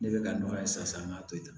Ne bɛ ka nɔgɔya sisan an ka to yen